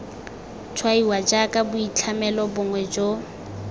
tshwaiwa jaaka boitlhamelo bongwe jo